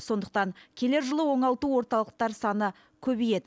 сондықтан келер жылы оңалту орталықтар саны көбейеді